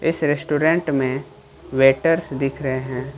इस रेस्टोरेंट में वेटर्स दिख रहे हैं।